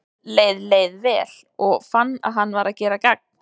Honum leið leið vel, og fann að hann var að gera gagn.